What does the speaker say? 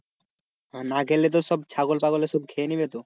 আর না ঘেড়লে তো ছাগল পাগলে সব খেয়ে নেবে তো.